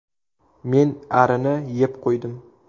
Men arini yeb qo‘ydim.